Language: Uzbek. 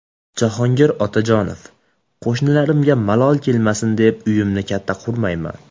Jahongir Otajonov: Qo‘shnilarimga malol kelmasin deb, uyimni katta qurmayman .